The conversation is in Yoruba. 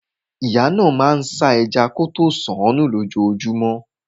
Ìyá náà máa ń ṣan ẹja kọtó sunún lójojúmọ́.